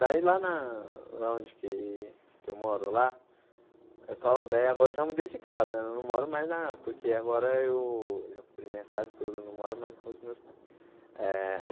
Daí lá na lá onde que que eu moro lá, é só daí agora eu já mudei de casa né, não moro mais na... porque agora eu já comprei minha casa toda, não moro mais com os meus pais eh.